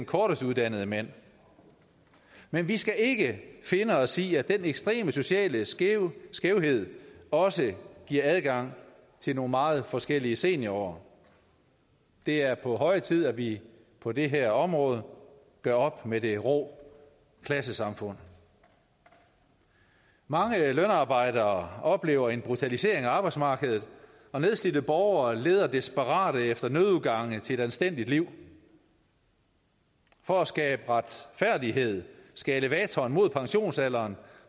kortest uddannede mænd men vi skal ikke finde os i at den ekstreme sociale skævhed skævhed også giver adgang til nogle meget forskellige seniorår det er på høje tid at vi på det her område gør op med det rå klassesamfund mange lønarbejdere oplever en brutalisering af arbejdsmarkedet og nedslidte borgere leder desperat efter nødudgange til et anstændigt liv for at skabe retfærdighed skal elevatoren mod pensionsalderen